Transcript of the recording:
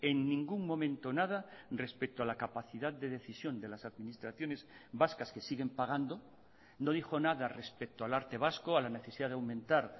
en ningún momento nada respecto a la capacidad de decisión de las administraciones vascas que siguen pagando no dijo nada respecto al arte vasco a la necesidad de aumentar